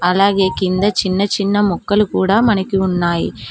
అలాగే కింద చిన్న చిన్న ముక్కలు కూడా మనకి ఉన్నాయి